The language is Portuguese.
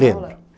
Lembro.